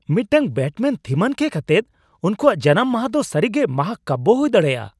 ᱢᱤᱫᱴᱟᱝ ᱵᱮᱴᱢᱮᱹᱱᱼᱛᱷᱤᱢᱟᱱ ᱠᱮᱠ ᱟᱛᱮᱫ ᱩᱱᱠᱩᱣᱟᱜ ᱡᱟᱱᱟᱢ ᱢᱟᱦᱟ ᱫᱚ ᱥᱟᱹᱨᱤᱜᱮ ᱢᱟᱦᱟᱠᱟᱵᱭᱚ ᱦᱩᱭ ᱫᱟᱲᱮᱭᱟᱜᱼᱟ ᱾